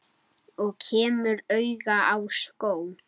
Og kemur auga á skó.